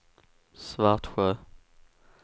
Svartsjö